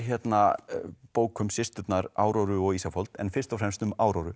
bók um systurnar og Ísafold en fyrst og fremst um